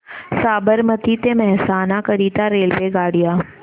साबरमती ते मेहसाणा करीता रेल्वेगाड्या